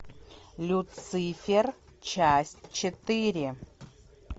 люцифер часть четыре